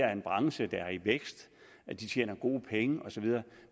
er en branche der er i vækst de tjener gode penge osv